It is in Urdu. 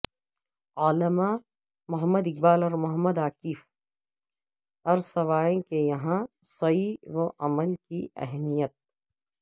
علامہ محمد اقبال اور محمد عاکف ایرسوائے کے ہاں سعی و عمل کی اہمیت